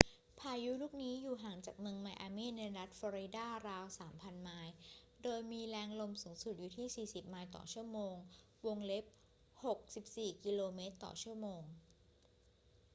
พายุลูกนี้อยู่ห่างจากเมืองไมอามี่ในรัฐฟลอริดาราว 3,000 ไมล์โดยมีแรงลมสูงสุดอยู่ที่ 40 ไมล์/ชม. 64 กม./ชม.